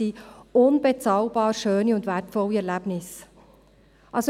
– Unbezahlbar schöne und wertvolle Erlebnisse.